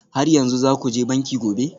Har yanzu za ku je banki gobe?